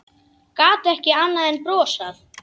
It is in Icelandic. Gat ekki annað en brosað.